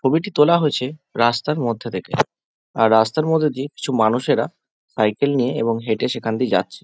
ছবিটি তোলা হয়েছে রাস্তার মধ্যে থেকে আর রাস্তার মধ্যে দিয়ে কিছু মানুষেরা সাইকেল নিয়ে এবং হেঁটে সেখান দিয়ে যাচ্ছে।